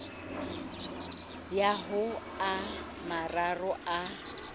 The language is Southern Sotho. ya ho a mararo a